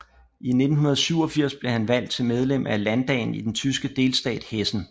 I 1987 blev han valgt til medlem af landdagen i den tyske delstat Hessen